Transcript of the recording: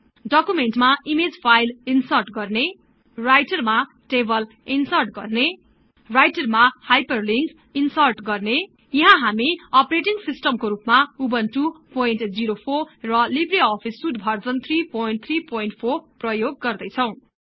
डकुमेन्टमा image file insert गर्ने राईटरमा table insert गर्ने राईटरमा हाईपरलिन्कस् ईन्सर्ट गर्ने यहाँ हामी अपरेटिङ सिस्टमको रुपमा उबुन्टु 04 र लिब्रे अफिस सुट भर्जन 334 प्रयोग गर्दैछौं